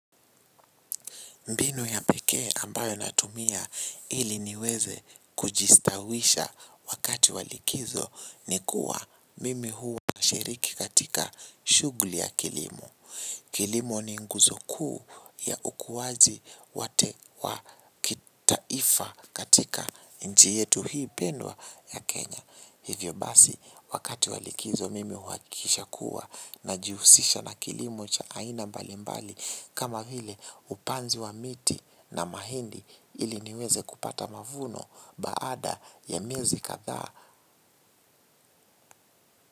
Mbinu ya pekee ambayo natumia ili niweze kujistawisha wakati wa likizo ni kuwa mimi huwa nashiriki katika shughuli ya kilimo. Kilimo ni nguzo kuu ya ukuwaji wote wa kitaifa katika nchi yetu hii pendwa ya Kenya. Hivyo basi wakati wa likizo mimi huhakisha kuwa najihusisha na kilimo cha aina mbali mbali kama vile upanzi wa miti na mahindi ili niweze kupata mavuno baada ya miezi kadhaa.